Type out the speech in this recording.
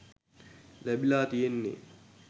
ලැබිලා තියෙන්නේ.